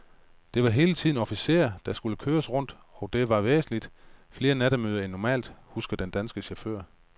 Der var hele tiden officerer, der skulle køres rundt, og der var væsentligt flere nattemøder end normalt, husker den danske chauffør.